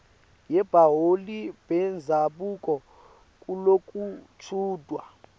yebaholi bendzabuko kulokuchutjwa